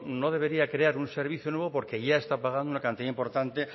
no debería crear un servicio nuevo porque ya está pagando una cantidad importante